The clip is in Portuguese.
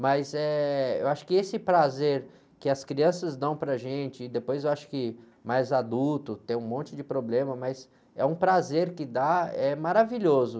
Mas, eh, eu acho que esse prazer que as crianças dão para gente, e depois eu acho que mais adulto, tem um monte de problema, mas é um prazer que dá, é maravilhoso.